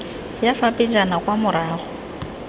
ya fa pejana kwa morago